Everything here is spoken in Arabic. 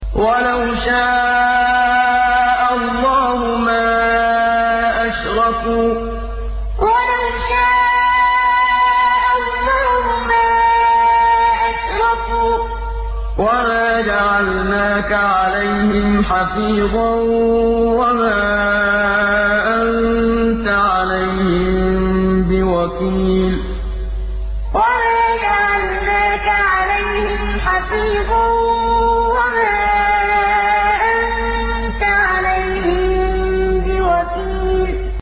وَلَوْ شَاءَ اللَّهُ مَا أَشْرَكُوا ۗ وَمَا جَعَلْنَاكَ عَلَيْهِمْ حَفِيظًا ۖ وَمَا أَنتَ عَلَيْهِم بِوَكِيلٍ وَلَوْ شَاءَ اللَّهُ مَا أَشْرَكُوا ۗ وَمَا جَعَلْنَاكَ عَلَيْهِمْ حَفِيظًا ۖ وَمَا أَنتَ عَلَيْهِم بِوَكِيلٍ